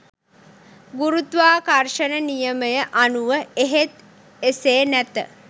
ගුරුත්වාකර්ෂන නියමය අනුව එහෙත් එසේ නැත